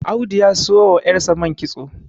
Audu ya siyo wa yarsa man kitso